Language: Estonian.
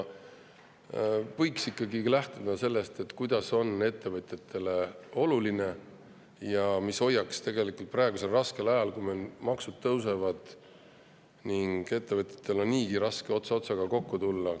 Võiks ikkagi lähtuda sellest, mis on ettevõtjatele oluline ja mis hoiaks neid praegusel raskel ajal, kui maksud tõusevad ning ettevõtjatel on niigi raske ots otsaga kokku tulla.